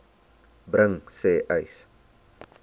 bring sê uys